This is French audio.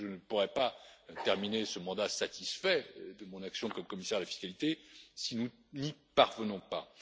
Je ne pourrai pas terminer ce mandat satisfait de mon action comme commissaire à la fiscalité si nous n'y parvenons pas.